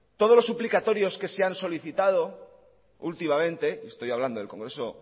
todos los suplicatorios que se ha solicitado últimamente estoy hablando del congreso